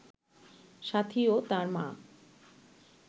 সাথী ও তার মা